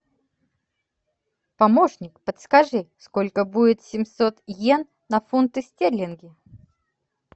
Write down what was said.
помощник подскажи сколько будет семьсот йен на фунты стерлинги